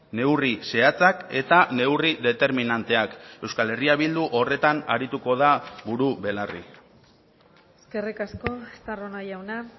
neurri zehatzak eta neurri determinanteak euskal herria bildu horretan arituko da buru belarri eskerrik asko estarrona jauna